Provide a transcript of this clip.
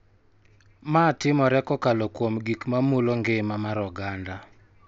Ma timore kokalo kuom gik ma mulo ngima mar oganda.